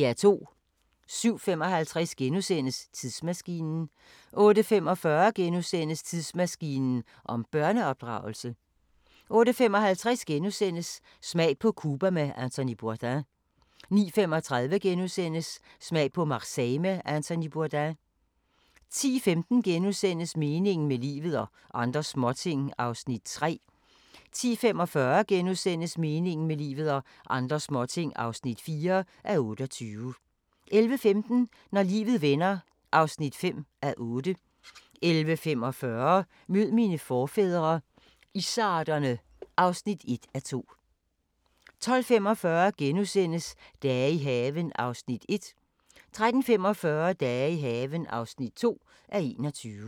07:55: Tidsmaskinen * 08:45: Tidsmaskinen om børneopdragelse * 08:55: Smag på Cuba med Anthony Bourdain * 09:35: Smag på Marseille med Anthony Bourdain * 10:15: Meningen med livet – og andre småting (3:28)* 10:45: Meningen med livet – og andre småting (4:28)* 11:15: Når livet vender (5:8) 11:45: Mød mine forfædre – izzarderne (1:2) 12:45: Dage i haven (1:21)* 13:45: Dage i haven (2:21)